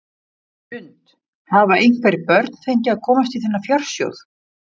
Hrund: Hafa einhver börn fengið að komast í þennan fjársjóð?